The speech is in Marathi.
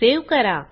सेव्ह करा